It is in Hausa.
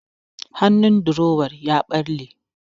Hannun durowan ya ɓalle.